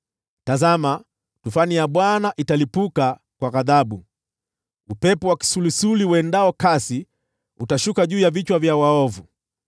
Tazama, tufani ya Bwana italipuka kwa ghadhabu, upepo wa kisulisuli uendao kasi utashuka juu ya vichwa vya waovu.